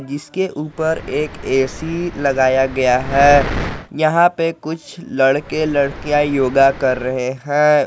इसके ऊपर एक ऐ_सी लगाया गया है यहां पर कुछ लड़के लड़कियां योगा कर रहे हैं।